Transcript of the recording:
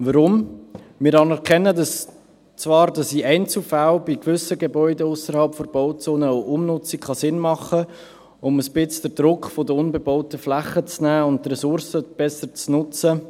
Weshalb? – Wir anerkennen zwar, dass in Einzelfällen bei gewissen Gebäuden ausserhalb der Bauzone auch eine Umnutzung Sinn machen kann, um ein wenig den Druck von den unbebauten Flächen zu nehmen und die Ressourcen besser zu nutzen.